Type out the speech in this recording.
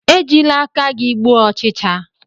Ejila aka gi gbuo ochicha!